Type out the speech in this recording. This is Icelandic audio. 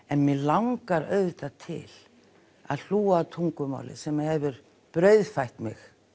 en mig langar auðvitað til að hlúa að tungumáli sem hefur brauðfætt mig